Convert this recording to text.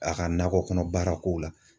A ka nakɔ kɔnɔ baara kow la.